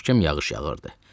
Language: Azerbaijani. Möhkəm yağış yağırdı.